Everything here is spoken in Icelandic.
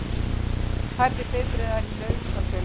Færri bifreiðar í nauðungarsölu